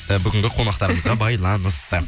і бүгінгі қонақтарымызға байланысты